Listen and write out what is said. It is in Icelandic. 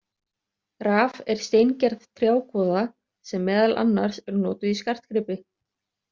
Raf er steingerð trjákvoða, sem meðal annars er notuð í skartgripi.